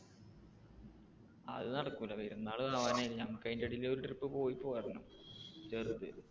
അത് നടക്കൂല പെരുന്നാള് ആവാൻ നമുക്ക് അതിന്റെ ഇടയിൽ ഒരു trip പോയി പോരണം ചെറുത്.